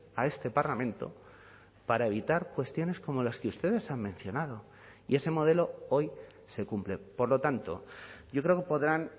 a este parlamento para evitar cuestiones como las que ustedes han mencionado y ese modelo hoy se cumple por lo tanto yo creo que podrán